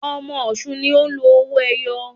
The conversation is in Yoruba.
Ọmọ ọ̀ṣun ni o ń lò owó ẹyọ